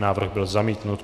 Návrh byl zamítnut.